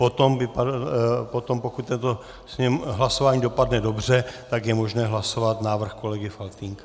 Potom, pokud toto hlasování dopadne dobře, tak je možné hlasovat návrh kolegy Faltýnka.